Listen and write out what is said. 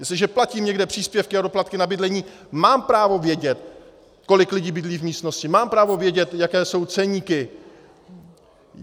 Jestliže platím někde příspěvky a doplatky na bydlení, mám právo vědět, kolik lidí bydlí v místnosti, mám právo vědět, jaké jsou ceníky.